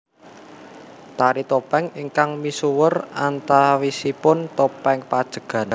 Tari topeng ingkang misuwur antawisipun Topeng Pajegan